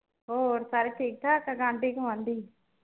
ਹੋਰ ਸਾਰੇ ਠੀਕ ਠਾਕ ਆਂਢੀ ਗੁਆਂਢੀ ਹਾਂ